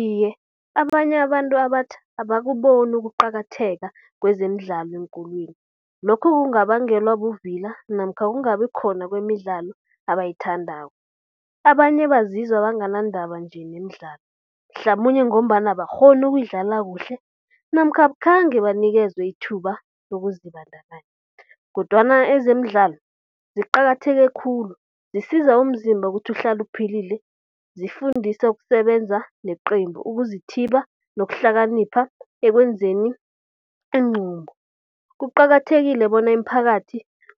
Iye, abanye abantu abatjha abakuboni ukuqakatheka kwezemidlalo eenkolweni. Lokhu kungabangelwa buvila namkha kungabi khona kwemidlalo abayithandako. Abanye bazizwa banganandaba nje nemidlalo, mhlamunye ngombana abakghoni ukuyidlala kuhle namkha akhange banikezwe ithuba lokuzibandakanya kodwana ezemidlalo ziqakatheke khulu zisiza umzimba ukuthi uhlala uphilile. Zifundisa ukusebenza neqembu, ukuzithiba nokuhlakanipha ekwenzeni iinqumo. Kuqakathekile bona imiphakathi